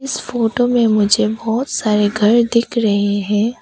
इस फोटो में मुझे बहोत सारे घर दिख रहे हैं।